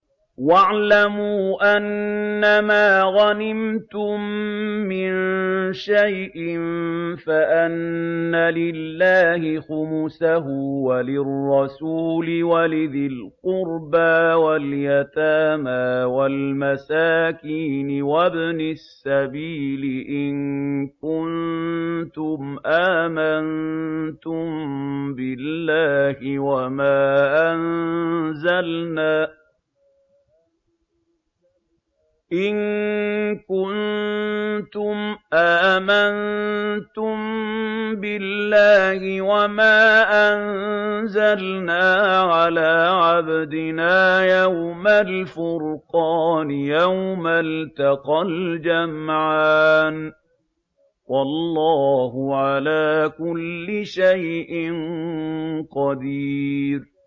۞ وَاعْلَمُوا أَنَّمَا غَنِمْتُم مِّن شَيْءٍ فَأَنَّ لِلَّهِ خُمُسَهُ وَلِلرَّسُولِ وَلِذِي الْقُرْبَىٰ وَالْيَتَامَىٰ وَالْمَسَاكِينِ وَابْنِ السَّبِيلِ إِن كُنتُمْ آمَنتُم بِاللَّهِ وَمَا أَنزَلْنَا عَلَىٰ عَبْدِنَا يَوْمَ الْفُرْقَانِ يَوْمَ الْتَقَى الْجَمْعَانِ ۗ وَاللَّهُ عَلَىٰ كُلِّ شَيْءٍ قَدِيرٌ